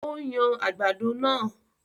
O ń yan àgbàdo naa